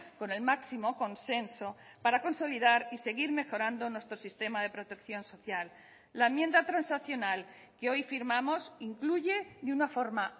con el máximo consenso para consolidar y seguir mejorando nuestro sistema de protección social la enmienda transaccional que hoy firmamos incluye de una forma